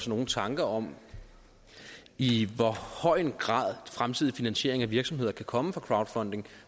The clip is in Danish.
nogen tanker om i hvor høj grad fremtidig finansiering af virksomheder kan komme fra crowdfunding